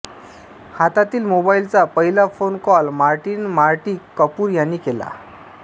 हातातील मोबाईलचा पहिला phone call Martin Marty Cooper यानी केला